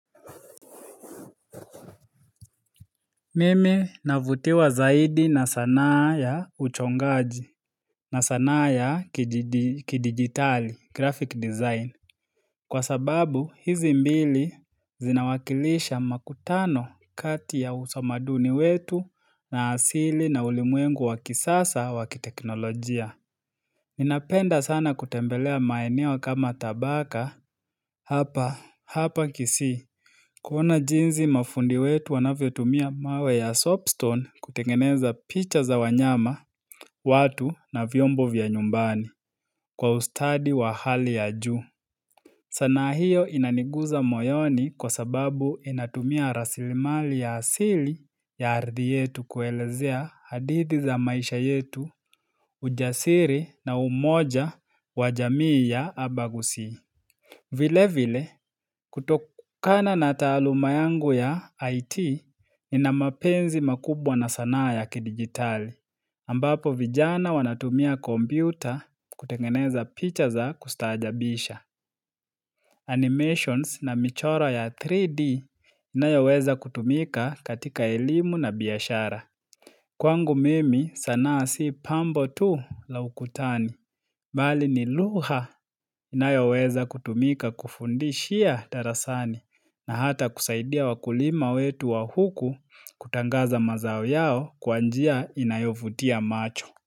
Mimi navutiwa zaidi na sanaa ya uchongaji na sanaa ya kidigitali, graphic design. Kwa sababu, hizi mbili zinawakilisha makutano kati ya utamaduni wetu na asili na ulimwengu wakisasa wakiteknolojia. Napenda sana kutembelea maeneo kama tabaka. Hapa, hapa kisi. Kuna jinsi mafundi wetu wanavyo tumia mawe ya soapstone kutengeneza picha za wanyama, watu na vyombo vya nyumbani kwa ustadi wa hali ya ju. Sanaa hiyo inaniguza moyoni kwa sababu inatumia rasilimali ya asili ya ardi yetu kuelezea hadithi za maisha yetu ujasiri na umoja wajamii ya abagusi. Vile vile, kutokana na taluma yangu ya IT, ina mapenzi makubwa na sanaa ya kidigitali. Ambapo vijana wanatumia kompyuta kutengeneza picha za kustajabisha. Animations na michora ya 3D ina yaweza kutumika katika elimu na biashara. Kwangu mimi sanaa si pambo tu la ukutani. Bali ni lugha inayoweza kutumika kufundishia darasani na hata kusaidia wakulima wetu wa huku kutangaza mazao yao kwa njia inayovutia macho.